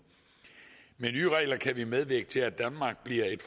med nye regler kan vi medvirke til at danmark bliver et